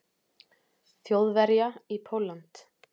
Þjóðverja í Pólland.